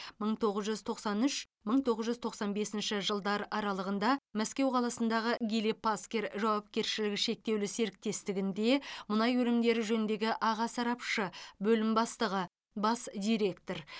мың тоғыз жүз тоқсан үш мың тоғыз жүз тоқсан бесінші жылдар аралығында мәскеу қаласындағы гили паскер жауапкершілігі шектеулі серіктестігінде мұнай өнімдері жөніндегі аға сарапшы бөлім бастығы бас директор